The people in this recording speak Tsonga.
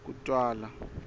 kutwala